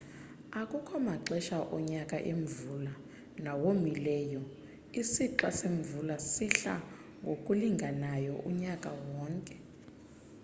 akukho maxesha onyaka emvula nawomileyo isixa semvula sihlala ngokulinganayo unyaka wonke